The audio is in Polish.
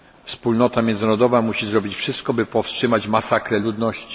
Wspólnota międzynarodowa musi zrobić wszystko, by powstrzymać masakrę ludności.